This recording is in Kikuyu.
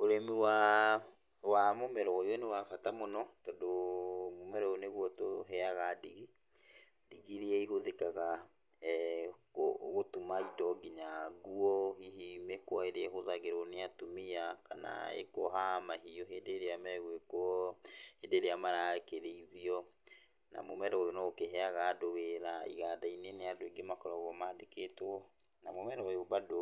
Ũrĩmi waa, wa mũmera ũyũ nĩ wa bata mũno tondũ mũmera ũyũ nĩguo ũtũheaga ndigi, ndigi iria ihũthĩkaga gũtuma indo kinya nguo, hihi mĩkwa ĩrĩa ĩhũthagĩrwo nĩ atumia, kana ĩkoha mahiũ hĩndĩ ĩrĩa megwĩkwo, hĩndĩ ĩrĩa marakĩrĩithio, na mũmera ũyũ noũkĩheaga andũ wĩra, iganda-inĩ nĩ andũ aingĩ makoragwo mandĩkĩtwo, na mũmera ũyũ bado